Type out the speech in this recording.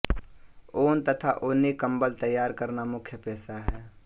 ऊन तथा ऊनी कंबल तैयार करना मुख्य पेशा है